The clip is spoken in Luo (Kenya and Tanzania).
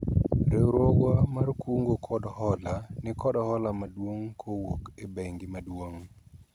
riwruogwa mar kungo kod hola nikod hola maduong' kowuok e bengi maduong'